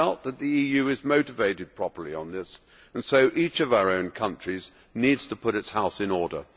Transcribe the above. I doubt that the EU is motivated properly on this, so each of our own countries needs to put its house in order.